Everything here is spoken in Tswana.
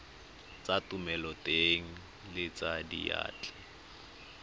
tsa thomeloteng le tsa diyantle